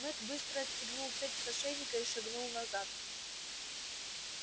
мэтт быстро отстегнул цепь с ошейника и шагнул назад